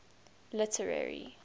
literary